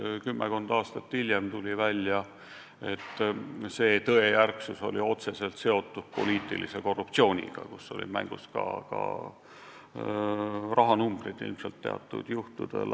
Ja kümmekond aastat hiljem on välja tulnud, et see tõejärgsus oli otseselt seotud poliitilise korruptsiooniga, kus teatud juhtudel olid ilmselt mängus ka mingid rahasummad.